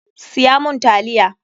Siya mun taliya!